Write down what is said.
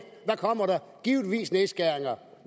kommer der givetvis nedskæringer